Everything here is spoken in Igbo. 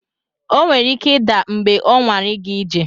O nwere ike ịda mgbe ọ nwara ịga ije.